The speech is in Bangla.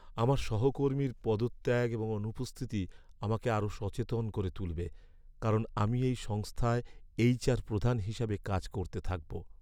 আমার সহকর্মীর পদত্যাগ এবং অনুপস্থিতি আমাকে আরও সচেতন করে তুলবে কারণ আমি এই সংস্থায় এইচআর প্রধান হিসাবে কাজ করতে থাকব।